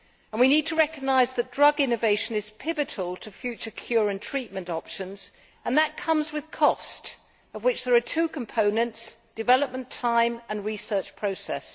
We need to recognise that drug innovation is pivotal to future cure and treatment options and that comes with cost, of which there are two components development time and research process.